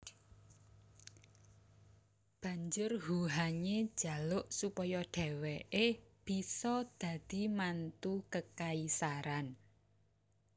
Banjur Huhanye jaluk supaya dheweke bisa dadi mantu kekaisaran